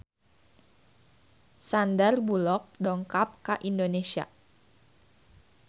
Sandar Bullock dongkap ka Indonesia